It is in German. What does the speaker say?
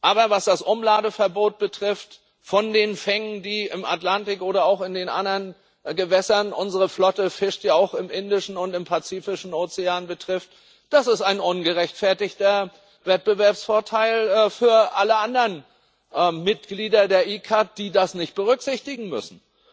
Aber was das Umladeverbot für die Fänge im Atlantik oder auch in den anderen Gewässern unsere Flotte fischt ja auch im Indischen und im Pazifischen Ozean betrifft Das ist ein ungerechtfertigter Wettbewerbsvorteil für alle anderen Mitglieder der ICCAT, die das nicht berücksichtigen müssen.